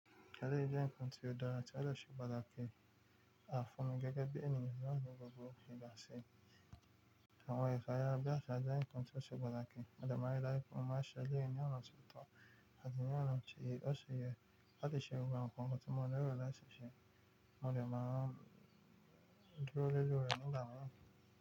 Elè jé nǹkan tó dára tí ọ̀ de ṣe pàtàkì a fún mi gẹ́gẹ́ bí ẹniyàn ní gbogbo ìbátí? Àwọn ẹ̀ka araya bí àṣà jẹ́ nǹkan tó ṣe padà pé ọdọ̀ máa rí láìpẹ́ má ṣẹlẹ̀ ní ọ̀nà tó tọ́ àti ní ọ̀nà tí ó ṣi yẹ láti ṣe gbogbo nǹkan tó mọ́ni rọ̀ láì ṣèṣe kí wọ́n lè máa dúró lórí rẹ̀ ní ìgbà mìíràn.